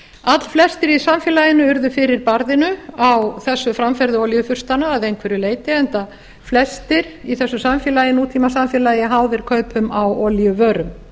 allflestir í samfélaginu urðu fyrir barðinu á þessu framferði olíufurstanna að einhverju leyti enda flestir í þessu nútímasamfélagi háðir kaupum á olíuvörum